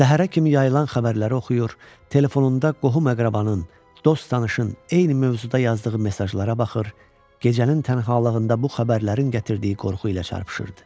Səhərə kimi yayılan xəbərləri oxuyur, telefonunda qohum-əqrabanın, dost-tanışın eyni mövzuda yazdığı mesajlara baxır, gecənin tənhalığında bu xəbərlərin gətirdiyi qorxu ilə çarpışırdı.